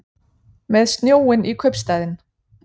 Með snjóinn í kaupstaðinn